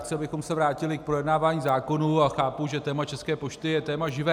Chci, abychom se vrátili k projednávání zákonů, a chápu, že téma České pošty je téma živé.